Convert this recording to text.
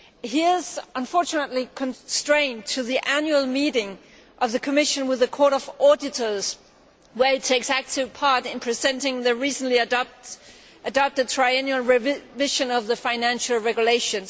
He is unfortunately constrained by the annual meeting of the Commission with the Court of Auditors where he takes an active part in presenting the recently adopted triennial revision of the financial regulation